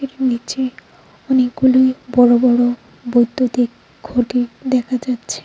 নিচে অনেকগুলি বড় বড় বৈদ্যুতিক খুঁটি দেখা যাচ্ছে।